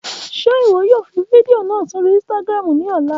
Ṣe iwọ yoo fi fidio naa sori Instagram ni ọla?